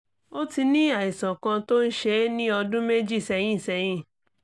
ó ti ní àìsàn kan tó ń ṣe é ní ọdún méjì sẹ́yìn sẹ́yìn